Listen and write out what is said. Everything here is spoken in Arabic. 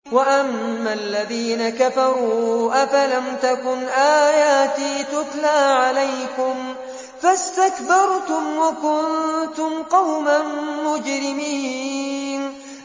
وَأَمَّا الَّذِينَ كَفَرُوا أَفَلَمْ تَكُنْ آيَاتِي تُتْلَىٰ عَلَيْكُمْ فَاسْتَكْبَرْتُمْ وَكُنتُمْ قَوْمًا مُّجْرِمِينَ